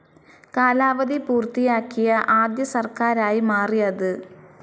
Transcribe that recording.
കാലാവധി പൂർത്തിയാക്കിയ ആദ്യ സർക്കാരായി മാറി അത്.